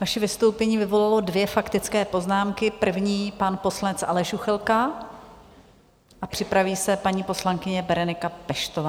Vaše vystoupení vyvolalo dvě faktické poznámky, první pan poslanec Aleš Juchelka a připraví se paní poslankyně Berenika Peštová.